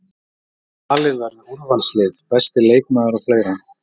Valið verður úrvalslið, besti leikmaður og fleira.